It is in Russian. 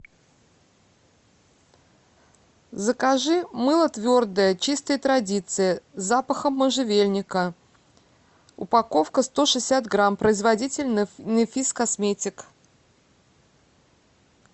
закажи мыло твердое чистые традиции с запахом можжевельника упаковка сто шестьдесят грамм производитель нэфис косметик